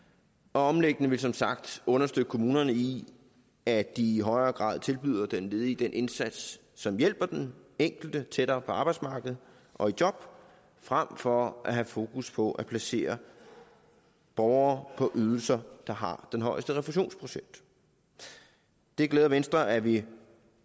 omlægningen vil som sagt understøtte kommunerne i at de i højere grad tilbyder den ledige den indsats som hjælper den enkelte tættere på arbejdsmarkedet og i job frem for at have fokus på at placere borgere på ydelser der har den højeste refusionsprocent det glæder venstre at vi